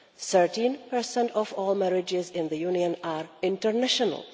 13 of all marriages in the Union are international